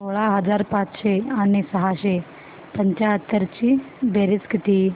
सोळा हजार पाचशे आणि सहाशे पंच्याहत्तर ची बेरीज किती